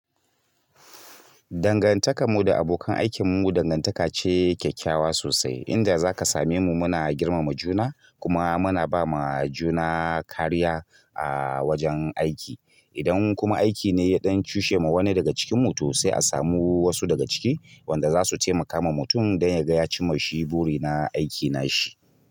Dangantakanmu da abokan aikinmu dangantaka ce kyakkyawa sosai, inda za ka same mu muna girmama juna kuma muna ba ma juna kariya a wajen aiki. Idan kuma aiki ne ya ɗan cushe ma wani daga cikinmu to sai a samu wasu daga ciki wanda za su taimaka ma mutum don ya ga ya cima shi buri na aiki na shi.